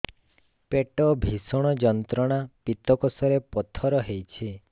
ପେଟ ଭୀଷଣ ଯନ୍ତ୍ରଣା ପିତକୋଷ ରେ ପଥର ହେଇଚି